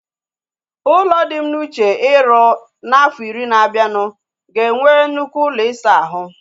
Ụlọ dị m n'uche iru na afo iri na abianu ga enwe nnukwu ụlọ isa ahu